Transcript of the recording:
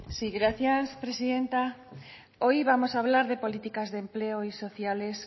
sí gracias presidenta hoy vamos a hablar de políticas de empleo y sociales